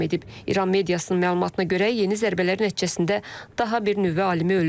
İran mediasının məlumatına görə yeni zərbələr nəticəsində daha bir nüvə alimi ölüb.